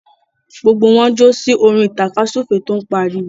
Gbogbo wọn ń jó sí orin tàkasúfèé tó ń pariwo.